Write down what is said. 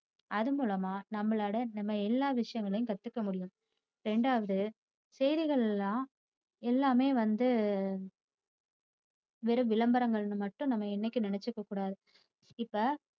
அதன் மூலமா நம்மளோட நம்ம எல்லா விஷயங்களையும் கத்துக்க முடியும். இரண்டாவது செய்திகள்யெல்லாம் எல்லாமே வந்து வெறும் விளம்பரங்கள்னு மட்டும் நம்ம என்னைக்கும் நினைச்சுக்ககூடாது. இப்ப